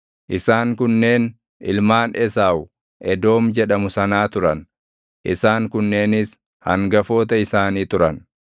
Isaan kunneen ilmaan Esaawu Edoom jedhamu sanaa turan; isaan kunneenis hangafoota isaanii turan.